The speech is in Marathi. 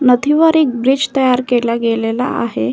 नदीवर एक ब्रिज तयार केला गेलेला आहे.